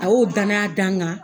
A y'o dananaya dan n kan